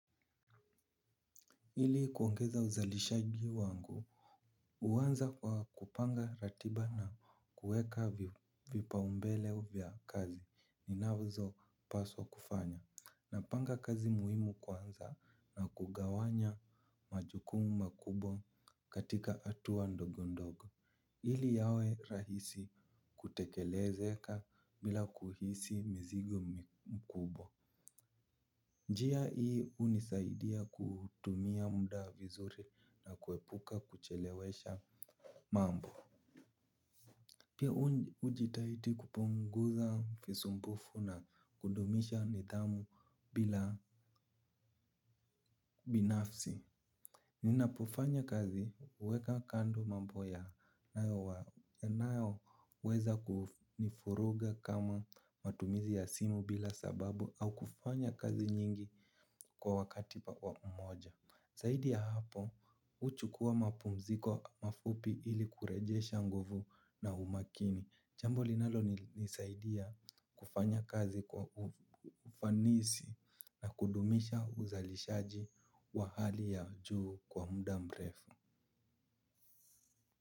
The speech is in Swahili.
Hili kuongeza uzalishaji wangu. Uwanza kwa kupanga ratiba na kueka vipa umbele vya kazi ninazo paswa kufanya. Na panga kazi muhimu kwanza na kugawanya majukumu makubwa katika atuwa ndogo ndogo. Hili yawe rahisi kutekelezeka bila kuhisi mzigo mkubwa. Njia ii unisaidia kutumia muda vizuri na kuepuka kuchelewesha mambo. Pia ujitaiti kupunguza fisumbufu na kudumisha nidhamu bila binafsi. Ninapofanya kazi uweka kando mambo yanayo weza kunifuruga kama matumizi ya simu bila sababu au kufanya kazi nyingi kwa wakati wa pamoja. Saidi ya hapo, uchukuwa mapumziko mafupi ili kurejesha nguvu na umakini. Jambo linalo nisaidiya kufanya kazi kwa ufanisi na kudumisha uzalishaji wa hali ya juu kwa muda mrefu.